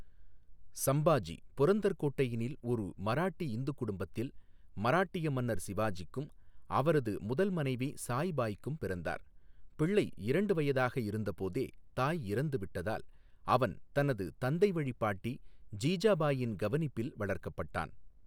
சம்பாஜி புரந்தர் கோட்டையினில் ஒரு மராட்டி இந்துக் குடும்பத்தில் மராட்டிய மன்னர் சிவாஜிக்கும் அவரது முதல் மனைவி சாய்பாய்க்கும் பிறந்தார், பிள்ளை இரண்டு வயதாக இருந்தபோதே தாய் இறந்துவிட்டதால் அவன் தனது தந்தைவழிப் பாட்டி ஜீஜாபாயின் கவனிப்பில் வளர்க்கப்பட்டான்.